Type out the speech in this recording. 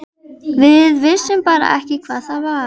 Við vissum bara ekki hvað það var.